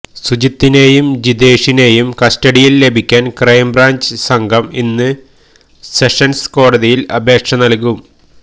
സുജിത്തിനെയും ജിതേഷിനെയും കസ്റ്റഡിയില് ലഭിക്കാന് ക്രൈംബ്രാഞ്ച് സംഘം ഇന്ന് സെഷന്സ് കോടതിയില് അപേക്ഷ നല്കും